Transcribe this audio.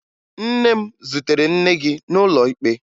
Nne m zutere nne gị n'ụlọ ikpe